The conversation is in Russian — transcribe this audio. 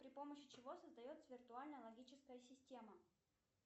при помощи чего создается виртуальная логическая система